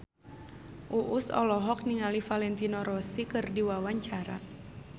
Uus olohok ningali Valentino Rossi keur diwawancara